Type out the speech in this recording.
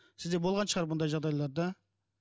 сізде болған шығар бұндай жағдайлар да